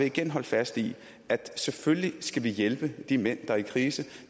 igen holde fast i at selvfølgelig skal vi hjælpe de mænd der er i krise